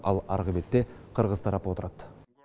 ал арғы бетте қырғыз тарапы отырады